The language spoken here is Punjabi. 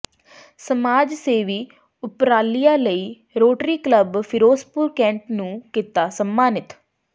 ਸਮਾਜ ਸੇਵੀ ਉਪਰਾਲਿਆਂ ਲਈ ਰੋਟਰੀ ਕਲੱਬ ਫਿਰੋਜ਼ਪੁਰ ਕੈਂਟ ਨੂੰ ਕਿੱਤਾ ਸਨਮਾਨਿਤ